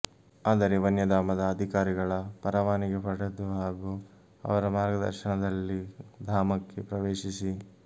ಆದರೆ ವನ್ಯಧಾಮದ ಅಧಿಕಾರಿಗಳ ಪರವಾನಿಗೆ ಪಡೆದು ಹಾಗೂ ಅವರ ಮಾರ್ಗದರ್ಶನದಲ್ಲಿ ಧಾಮಕ್ಕೆ ಪ್ರವೇಶಿಸಿ